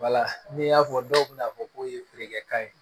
n'i y'a fɔ dɔw bɛ n'a fɔ k'o ye feerekɛ kan ye